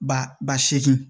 Ba ba seegin